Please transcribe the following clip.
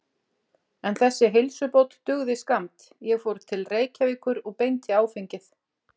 En þessi heilsubót dugði skammt, ég fór til Reykjavíkur og beint í áfengið.